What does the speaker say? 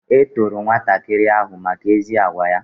E toro nwatakịrị ahụ maka ezi agwa ya